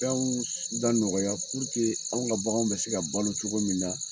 Fenw da nɔgɔya anw ka baganw bɛ se ka balo cogo min na.